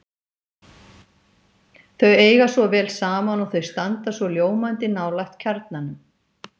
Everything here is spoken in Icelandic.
Þau eiga svo vel saman og þau standa svo ljómandi nálægt kjarnanum.